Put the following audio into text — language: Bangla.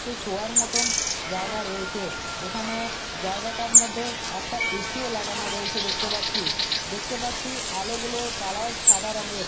নীচে শোয়ার মতন জায়গা রয়েছে এখানে জায়গাটার মধ্যে একটা এ_সি -ও লাগানো রয়েছে দেখতে পাচ্ছি দেখতে পাচ্ছি আলোগুলোর কালার সাদা রঙের।